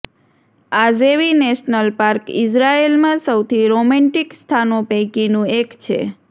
આઝેવી national park ઈઝરાયેલમાં સૌથી romantic સ્થાનો પૈકીનું એક છે